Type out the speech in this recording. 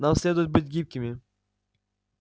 нам следует быть гибкими